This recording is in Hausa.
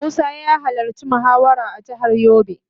Musa ya halarci muhawarar a jihar yobe.